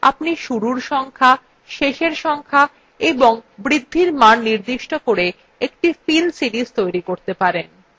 আপনি শুরুর সংখ্যা শেষ সংখ্যা এবং বৃদ্ধির মান নির্দিষ্ট করে একটি fill series তৈরী করতে পারেন